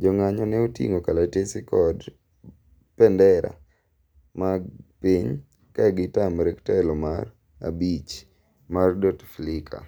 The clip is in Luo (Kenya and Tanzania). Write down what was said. jong'anyo ne oting'o kalatese kod pendera mar piny ka gi tamre telo mar abich mar Bouteflika